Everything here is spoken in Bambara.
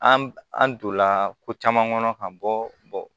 An an donna ko caman kɔnɔ ka bɔ